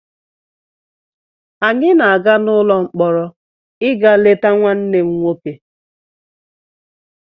Anyị na-aga n'ụlọ mkpọrọ ịga leta nwanne m nwoke